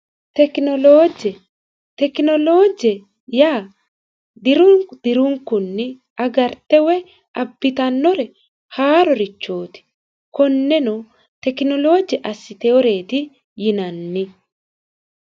tekinoloojje tekinoloojje yaa diru dirunikunni agarte woy abbitannore haarorichooti konneno tekinoloojje assiteyoreeti yinanni